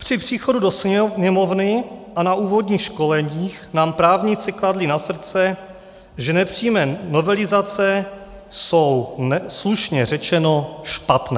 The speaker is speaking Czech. Při příchodu do Sněmovny a na úvodních školeních nám právníci kladli na srdce, že nepřímé novelizace jsou slušně řečeno špatné.